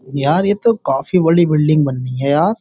यार ये तो काफी बड़ी बिल्डिंग बन रही है यार।